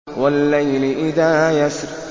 وَاللَّيْلِ إِذَا يَسْرِ